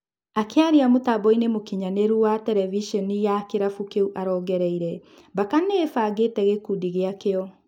Akĩaria mũtamboinĩ mũkinyanĩru wa tereviceni ya kĩrabu kĩũ arongereire: Mbaka nĩĩbangĩte gĩkundi gĩakĩo.